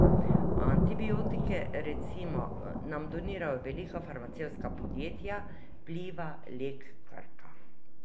Antibiotike, recimo, nam donirajo velika farmacevtska podjetja, Pliva, Lek, Krka.